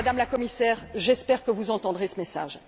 Madame la Commissaire, j'espère que vous entendrez ce message.